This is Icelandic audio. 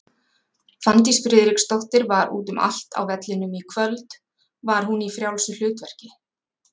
Fanndís Friðriksdóttir var út um allt á vellinum í kvöld, var hún í frjálsu hlutverki?